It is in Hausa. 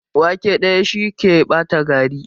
Wake ɗaya, shi ke ɓata gari.